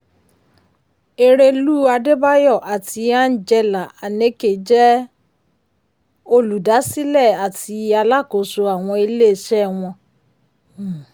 erelú adébáyọ̀ àti angela aneke jẹ́ um olùdásílẹ̀ àti alákóso àwọn ilé-iṣẹ́ wọn. um